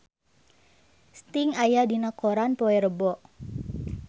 Sting aya dina koran poe Rebo